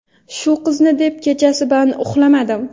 Shu qizni deb kechasi bilan uxlamadim.